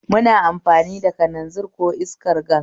Muna amfani da kalanzir ko iskar gas